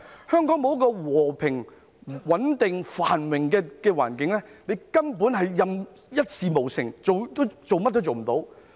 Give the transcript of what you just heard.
香港沒有和平、穩定、繁榮的環境，它根本一事無成，甚麼都做不到。